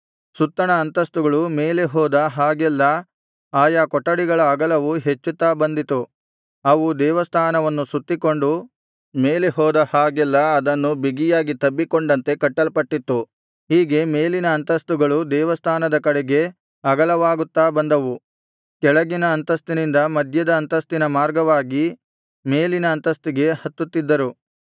ಸುತ್ತಣ ಅಂತಸ್ತುಗಳು ಮೇಲೆ ಹೋದ ಹಾಗೆಲ್ಲಾ ಆಯಾ ಕೊಠಡಿಗಳ ಅಗಲವು ಹೆಚ್ಚುತ್ತಾ ಬಂದಿತು ಅವು ದೇವಸ್ಥಾನವನ್ನು ಸುತ್ತಿಕೊಂಡು ಮೇಲೆ ಹೋದ ಹಾಗೆಲ್ಲಾ ಅದನ್ನು ಬಿಗಿಯಾಗಿ ತಬ್ಬಿಕೊಂಡಂತೆ ಕಟ್ಟಲ್ಪಟ್ಟಿತ್ತು ಹೀಗೆ ಮೇಲಿನ ಅಂತಸ್ತುಗಳು ದೇವಸ್ಥಾನದ ಕಡೆಗೆ ಅಗಲವಾಗುತ್ತಾ ಬಂದವು ಕೆಳಗಿನ ಅಂತಸ್ತಿನಿಂದ ಮಧ್ಯದ ಅಂತಸ್ತಿನ ಮಾರ್ಗವಾಗಿ ಮೇಲಿನ ಅಂತಸ್ತಿಗೆ ಹತ್ತುತ್ತಿದ್ದರು